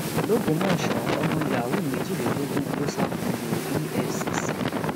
lọgbọmọsọ ọmọ yahoo méjìlélógún kò sákòlo efcc